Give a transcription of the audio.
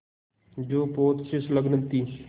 जो पोत से संलग्न थी